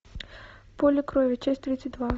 поле крови часть тридцать два